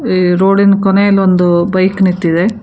ಈ ರೋಡಿ ನ ಕೊನೆಯಲೊಂದು ಬೈಕ್ ನಿಂತಿದೆ.